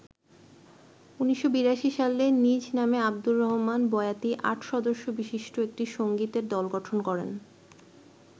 ১৯৮২ সালে নিজ নামে আবদুর রহমান বয়াতি আট সদস্যবিশিষ্ট একটি সংগীতের দল গঠন করেন।